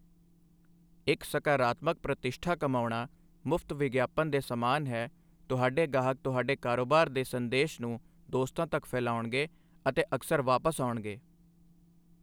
ਇੱਕ ਸਕਾਰਾਤਮਕ ਪ੍ਰਤਿਸ਼ਠਾ ਕਮਾਉਣਾ ਮੁਫਤ ਵਿਗਿਆਪਨ ਦੇ ਸਮਾਨ ਹੈ ਤੁਹਾਡੇ ਗਾਹਕ ਤੁਹਾਡੇ ਕਾਰੋਬਾਰ ਦੇ ਸੰਦੇਸ਼ ਨੂੰ ਦੋਸਤਾਂ ਤੱਕ ਫੈਲਾਉਣਗੇ ਅਤੇ ਅਕਸਰ ਵਾਪਸ ਆਉਣਗੇ।